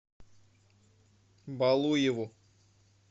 балуеву